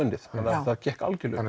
unnið að það gekk algjörlega